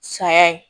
Saya ye